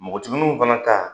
Npogotigininw fana ta